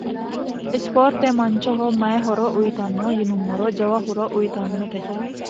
isiporte manchoho maye horo uyitanno yinummoro jawa horo uyitannote